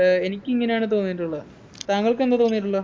ഏർ എനിക്കിങ്ങനെയാണ് തോന്നിട്ടുള്ള താങ്കൾക്കെന്താ തോന്നിട്ടുള്ളെ